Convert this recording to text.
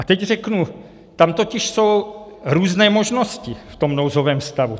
A teď řeknu, tam totiž jsou různé možnosti v tom nouzovém stavu.